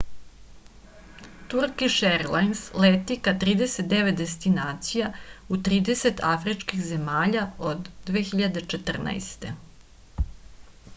turkiš erlajns leti ka 39 destinacija u 30 afričkih zemalja od 2014